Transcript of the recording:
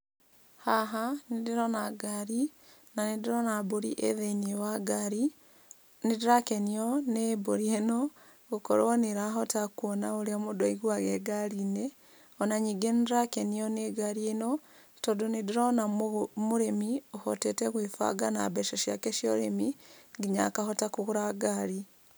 Haha nĩ ndĩrona ngari na nĩ ndĩrona mbũri ĩ thĩiniĩ wa ngari. Nĩ ndĩrakenio nĩ mbũri ĩno gũkorwo nĩ ĩrahota kũona ũrĩa mũndũ aiguaga e ngarinĩ ona ningĩ nĩ ndĩrakenio nĩ ngari ĩno tondũ nĩ ndĩrona mũrĩmi ũhotete gwĩbanga na mbeca ciake cia ũrĩmi nginya akahota kũgũra ngari.